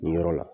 Nin yɔrɔ la